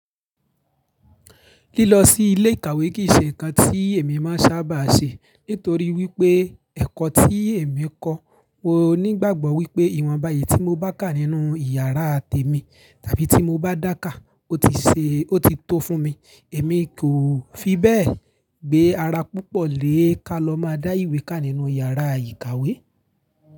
Lílọ sí ilé ìkàwé kì í ṣe ǹkan tí èmi máa sábà ṣe nítorí wípé ẹ̀kọ́ tí èmi ń kọ́, mo ní ìgbàgbọ́ wípé ìwọ̀nbá eyìí tí mo bá ká nínú ìyàrá tèmi tàbí tí mo bá dákà ó ti ṣe ó ti tó fún mi. Èmi kò fi bẹ́ẹ̀ gbe ara púpọ̀ lé ká lọ máa dá ìwé ká nínú yàrá ìkàwé.